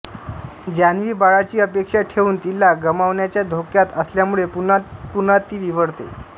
जान्हवी बाळाची अपेक्षा ठेवून तिला गमावण्याच्या धोक्यात असल्यामुळे पुन्हा पुन्हा ती विव्हळते